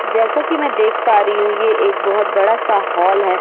जैसा कि मैं देख पा रही हूं ये एक बहोत बड़ा सा हॉल है।